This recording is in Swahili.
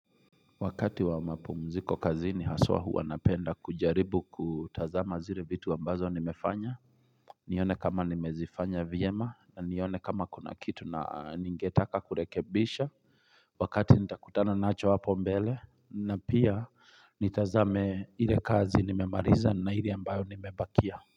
Wakati wa mapumziko kazini haswa hua napenda kujaribu kutazama zile vitu ambazo nimefanya nione kama nimezifanya vyema na nione kama kuna kitu na ningetaka kurekebisha Wakati nitakutana nacho hapo mbele na pia nitazame ile kazi nimemaliza na ile ambayo nimebakia.